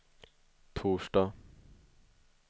torsdag